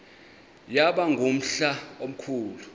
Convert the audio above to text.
yaba ngumhla omkhulu